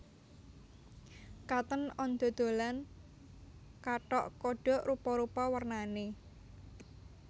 Cotton On dodolan kathok kodok rupa rupa wernane